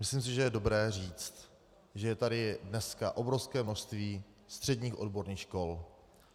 Myslím si, že je dobré říct, že je tady dneska obrovské množství středních odborných škol.